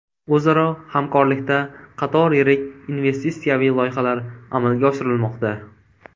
O‘zaro hamkorlikda qator yirik investitsiyaviy loyihalar amalga oshirilmoqda.